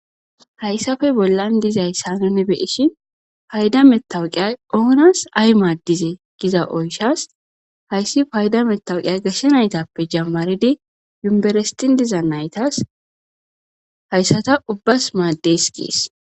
hayssafe bollan dizayssa nune beishin payda mettawuqiyay oonas ay maaddize giza oyshas hayssi payda metawuqiyay gashshe naytappe jammaridi yumberestin diza naytas hayssata ubbas maaddes gees